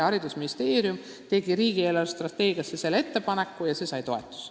Haridusministeerium esitas selle ettepaneku riigi eelarvestrateegiasse ja see sai toetust.